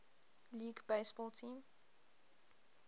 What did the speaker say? league baseball team